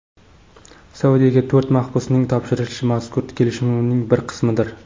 Saudiyaga to‘rt mahbusning topshirilishi mazkur kelishuvning bir qismidir.